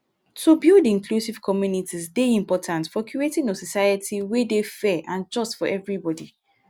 to build inclusive communities dey important for creating a society wey dey fair and just for everybody.